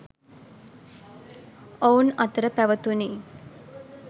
ඔවුන් අතර පැව තුණි.